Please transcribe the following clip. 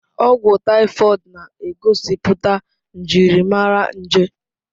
Ọgwụ taifọid na-egosipụta njirimara nje.